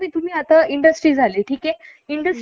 कि म्हणजे तिथल्या लोकल लोकांना त्रास नाही होणार